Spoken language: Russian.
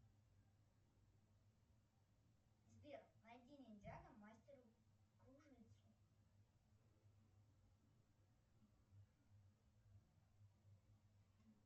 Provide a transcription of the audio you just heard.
сбер найди ниндзяго мастера кружитцу